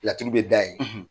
Laturu bɛ da yen